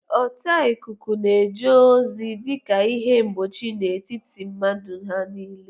Ọta ikuku na-eje ozi dị ka ihe mgbochi n'etiti ndị mmadụ na ihe